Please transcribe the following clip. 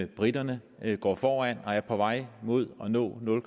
briterne går foran og er på vej mod at nå nul